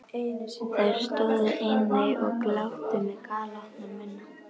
Þær stóðu einnig og gláptu með galopna munna.